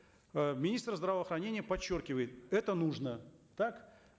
э министр здравоохранения подчеркивает это нужно так